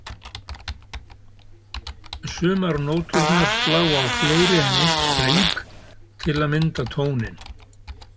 Sumar nóturnar slá á fleiri en einn streng til að mynda tóninn.